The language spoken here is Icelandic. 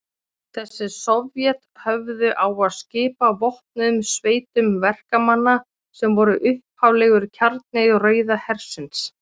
Þessi sovét höfðu á að skipa vopnuðum sveitum verkamanna, sem voru upphaflegur kjarni Rauða hersins.